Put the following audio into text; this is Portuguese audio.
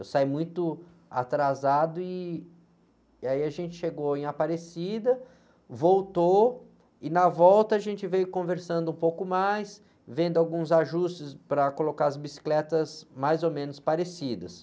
Eu saí muito atrasado e, e aí a gente chegou em Aparecida, voltou e na volta a gente veio conversando um pouco mais, vendo alguns ajustes para colocar as bicicletas mais ou menos parecidas.